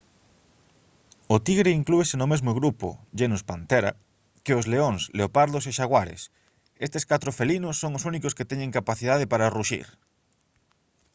o tigre inclúese no mesmo grupo genus panthera que os leóns leopardos e xaguares. estes catro felinos son os únicos que teñen capacidade para ruxir